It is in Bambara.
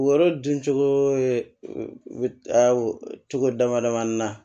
Yɔrɔ dun cogo ye cogo damadamanin na